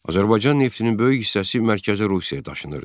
Azərbaycan neftinin böyük hissəsi Mərkəzi Rusiyaya daşınırdı.